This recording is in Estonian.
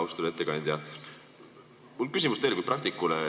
Austatud ettekandja, mul on küsimus teile kui praktikule.